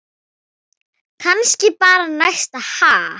Kannski bara næst, ha!